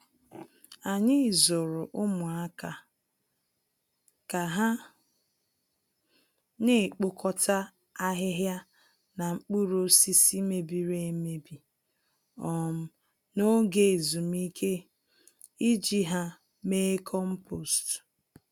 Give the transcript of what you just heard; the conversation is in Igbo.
Anyị zụrụ ụmụaka ka ha naekpokọta ahịhịa na mkpụrụ osisi mebiri-emebi um n'oge ezumike, iji ha mee kompost